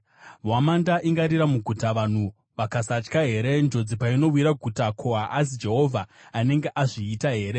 Hwamanda ingarira muguta, vanhu vakasatya here? Njodzi painowira guta, ko, haazi Jehovha anenge azviita here?